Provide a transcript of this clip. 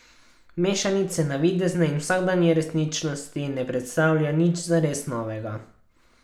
Mešanica navidezne in vsakdanje resničnosti ne predstavlja nič zares novega.